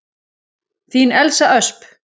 Þín Elsa Ösp.